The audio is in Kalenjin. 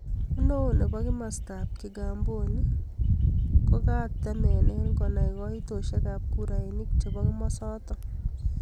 Neo nebo kimasta ab kigamboni kokatemene konai kaitoshek ab kurainik chebo kimosatak.